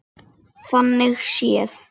Hendist í burtu.